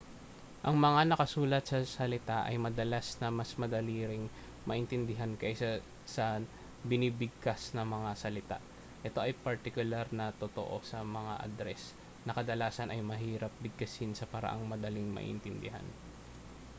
ang mga nakasulat na salita ay madalas na mas madali ring maintindihan kaysa sa binibigkas na mga salita ito ay partikular na totoo sa mga adres na kadalasan ay mahirap bigkasin sa paraang madaling maiintindihan